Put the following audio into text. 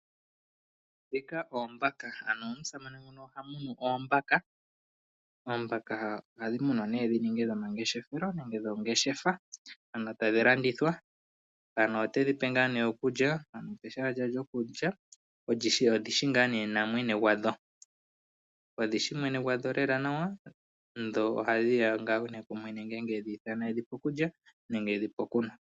Dhika oombaka Ano omusamane nguno oha munu oombaka. Oombaka ohadhi munwa nee dhi ninge dhomangeshefelo nenge dho ngeshefa, ano tadhi landithwa. Mpano otedhi pe ngaa nee okulya , ano opeshala lya dho, lyo kulya, odhishi ngaa nee na mwene gwa dho. Odhishi mwene gwa dho lela nawa , dho ohadhi ya ngaa nee ku mwene ngele tedhi ithana edhi pe okulya nenge edhipe okunwa .